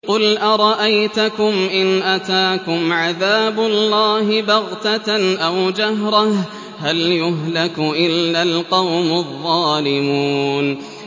قُلْ أَرَأَيْتَكُمْ إِنْ أَتَاكُمْ عَذَابُ اللَّهِ بَغْتَةً أَوْ جَهْرَةً هَلْ يُهْلَكُ إِلَّا الْقَوْمُ الظَّالِمُونَ